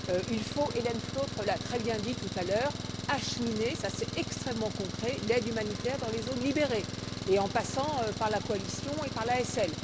Il faut Hélène Flautre l'a très bien dit tout à l'heure acheminer, cela c'est extrêmement concret, l'aide humanitaire dans les zones libérées, et en passant par la coalition et par l'ASL.